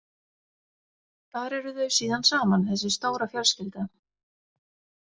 Þar eru þau síðan saman, þessi stóra fjölskylda.